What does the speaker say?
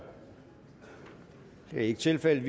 det er ikke tilfældet